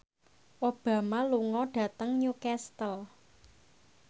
Obama lunga dhateng Newcastle